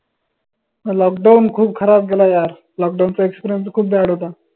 lockdown खूप खराब गेला यारlockdown चा experience खूप bad होता.